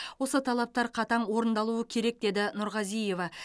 осы талаптар қатаң орындалуы керек деді нұрғазиева